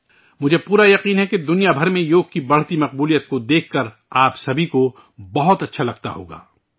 مجھے پورا یقین ہے کہ دنیا بھر میں یوگ کی بڑھتی مقبولیت کو دیکھ کر آپ سبھی کو بہت اچھا لگتا ہوگا